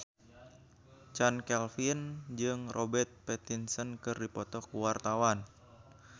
Chand Kelvin jeung Robert Pattinson keur dipoto ku wartawan